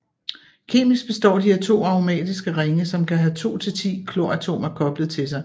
Kemisk består de af to aromatiske ringe som kan have 2 til 10 kloratomer koblet til sig